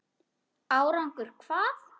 Árangur hvað?